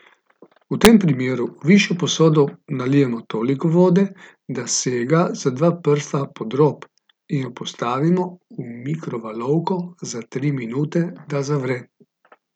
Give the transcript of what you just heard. V tem primeru v višjo posodo nalijemo toliko vode, da sega za dva prsta pod rob, in jo postavimo v mikrovalovko za tri minute, da zavre.